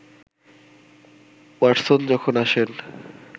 Watson যখন আসেন